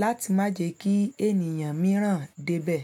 láti má jẹ kí ènìyàn mìíràn débẹ̀